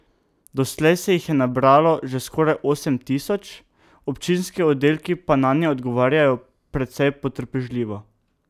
Doslej se jih je nabralo že skoraj osem tisoč, občinski oddelki pa nanje odgovarjajo precej potrpežljivo.